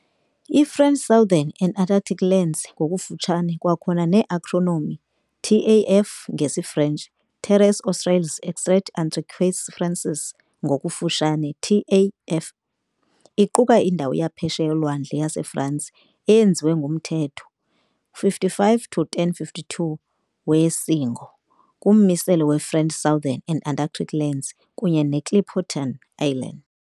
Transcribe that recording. I-French Southern and Antarctic Lands, ngokufutshane kwakhona ne-acronym TAAF, ngesiFrentshi- Terres australes et antarctiques français, ngokufutshane TAAF, iquka indawo yaphesheya yolwandle yaseFransi eyenziwe ngumthetho 55 to1052 we isiNgo "kummiselo we-French Southern and Antarctic Lands kunye neClipperton Island".